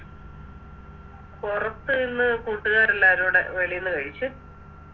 പൊറത്ത് ഇന്ന് കൂട്ടുകാരെല്ലാരുടെ വെളിന്ന് കഴിച്ച്